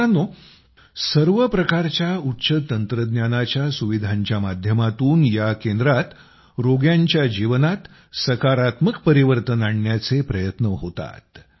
मित्रांनो सर्व प्रकारच्या उच्च तंत्रज्ञानाच्या सुविधांच्या माध्यमातून या केंद्रात रोग्यांच्या जीवनात सकारात्मक परिवर्तन आणण्याचे प्रयत्न होतात